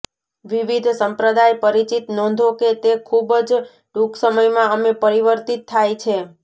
વિવિધ સંપ્રદાય પરિચિત નોંધો કે તે ખૂબ જ ટૂંક સમયમાં અમે પરિવર્તિત થાય છે